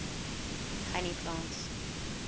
honey plants